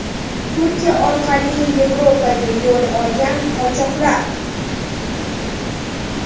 Turkiya orqali Yevropaga yo‘l olgan qochoqlar.